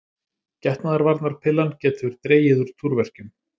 Getnaðarvarnarpillan getur dregið úr túrverkjum.